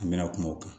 An mɛna kuma o kan